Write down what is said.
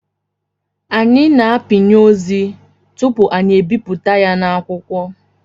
Anyị na-apịnye ozi tupu anyị ebipụta ya na akwụkwọ